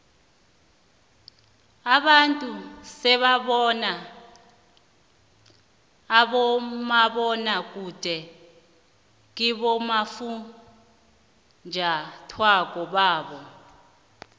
abantu sebabukela umabonwakude kibofunjathwako babo